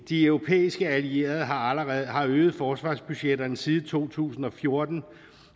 de europæiske allierede har har øget forsvarsbudgetterne siden to tusind og fjorten